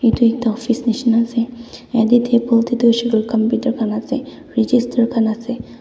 etu ekta office nisna ase etu table te tu register khan esa.